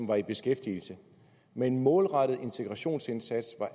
var i beskæftigelse med en målrettet integrationsindsats